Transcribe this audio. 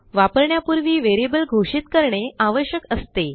वापरण्यापूर्वी व्हेरिएबल घोषित करणे आवश्यक असते